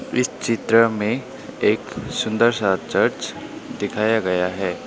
इस चित्र में एक सुंदर सा चर्च दिखाया गया है।